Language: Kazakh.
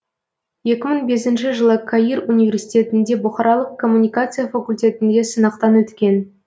екі мың бесінші жылы каир университетінде бұқаралық коммуникация факультетінде сынақтан өткен